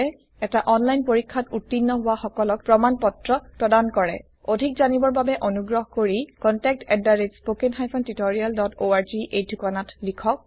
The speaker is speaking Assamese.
এটা অনলাইন পৰীক্ষাত উত্তীৰ্ণ হোৱা সকলক প্ৰমাণ পত্ৰ প্ৰদান কৰে অধিক জানিবৰ বাবে অনুগ্ৰহ কৰি contactspoken tutorialorg এই ঠিকনাত লিখক